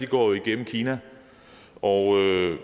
går igennem kina og